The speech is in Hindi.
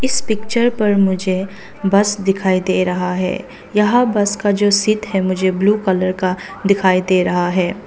इस पिक्चर पर मुझे बस दिखाई दे रहा है यहां बस का जो सीट है मुझे ब्लू कलर का दिखाई दे रहा है।